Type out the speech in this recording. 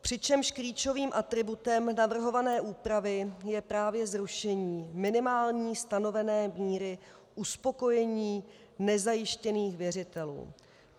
Přičemž klíčovým atributem navrhované úpravy je právě zrušení minimální stanovené míry uspokojení nezajištěných věřitelů.